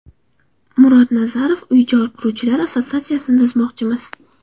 Murod Nazarov: Uy-joy quruvchilar assotsiatsiyasini tuzmoqchimiz.